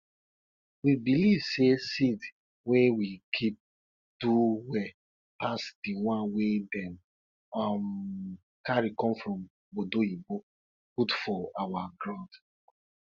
we believe say seeds wey we keep do well pass the ones wey dem um carry come from obodoyibo put for our grund